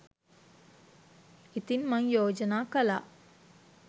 ඉතින් මං යෝජනා කළා